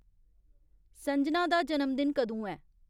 संजना दा जनमदिन कदूं ऐ